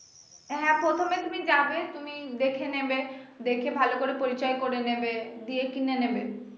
হ্যা প্রথমে তুমি যাবে তুমি দেখে নেবে দেখে ভালো করে পরিচয় করে নেবে দিয়ে কিনে নিবে